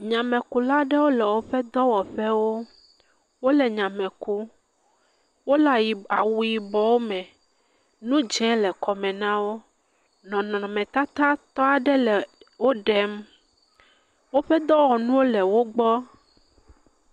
Nyamekula aɖee le woƒe dɔwɔƒewo. Wòle nyame kum. Wòle awu yibɔ me. Nu dzɛ le kɔme nawò. Nɔnɔme tata tɔ aɖe le wò ɖem. Woƒe dɔwɔnuwo le wògbɔ.